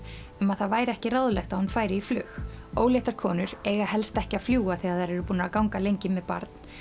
um að það væri ekki ráðlegt að hún færi í flug óléttar konur eiga helst ekki að fljúga þegar þær eru búnar að ganga lengi með barn